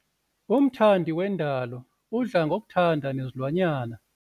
Umthandi wendalo udla ngokuthanda nezilwanyana.